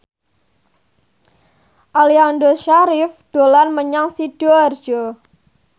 Aliando Syarif dolan menyang Sidoarjo